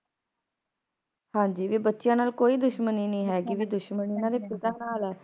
ਹਾਂਜੀ ਵੀ ਬੱਚਿਆਂ ਨਾਲ ਕੋਈ ਦੁਸ਼ਮਣੀ ਨਹੀਂ ਹੈਗੀ ਵੀ ਦੁਸ਼ਮਣੀ ਇਹਨਾਂ ਪਿਤਾ ਪਿਤਾ ਨਾਲ ਹੈ